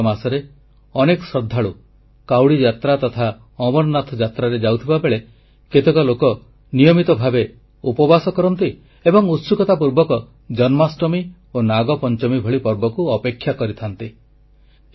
ଏହି ପବିତ୍ର ମାସରେ ଅନେକ ଶ୍ରଦ୍ଧାଳୁ କାଉଡ଼ି ଯାତ୍ରା ତଥା ଅମରନାଥ ଯାତ୍ରାରେ ଯାଉଥିବା ବେଳେ କେତେକ ଲୋକ ନିୟମିତ ଭାବେ ଉପବାସ କରନ୍ତି ଏବଂ ଉତ୍ସୁକତା ପୂର୍ବକ ଜନ୍ମାଷ୍ଟମୀ ଓ ନାଗପଂଚମୀ ଭଳି ପର୍ବକୁ ଅପେକ୍ଷା କରିଥାନ୍ତି